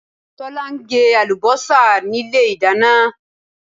Tọ̀lá n gé àlùbósà nílé ìdáná